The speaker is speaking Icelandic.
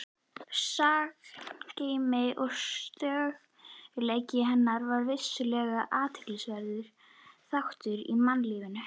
Sagngeymdin og stöðugleiki hennar er vissulega athyglisverður þáttur í mannlífinu.